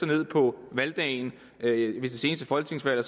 ned på valgdagen ved det seneste folketingsvalg